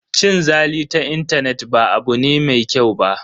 Cin zali ta intanet ba abu ne mai kyau ba.